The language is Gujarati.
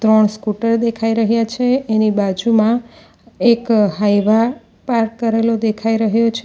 ત્રણ સ્કૂટર દેખાઈ રહ્યા છે એની બાજુમાં એક હાઇવા પાર્ક કરેલો દેખાઈ રહ્યો છે.